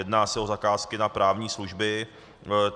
Jedná se o zakázky na právní služby.